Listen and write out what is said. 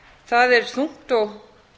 það er þungt og